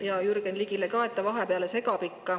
Ja Jürgen Ligile ka, et ta ikka vahele segab.